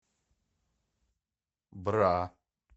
бра